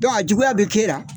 a juguya bɛ kɛ e la.